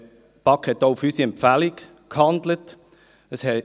Die BaK handelte auf unserer Empfehlung hin.